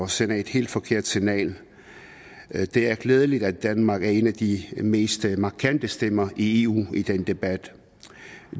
sender et helt forkert signal det er glædeligt at danmark er en af de mest markante stemmer i eu i den debat